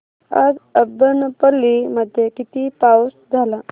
आज अब्बनपल्ली मध्ये किती पाऊस झाला